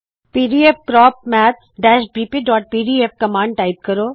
pdfcrop maths bpਪੀਡੀਐਫ command type ਕਰੋ